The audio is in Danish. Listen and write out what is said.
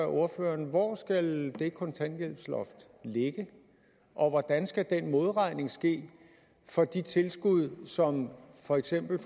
ordføreren hvor skal det kontanthjælpsloft ligge og hvordan skal den modregning ske for de tilskud som for eksempel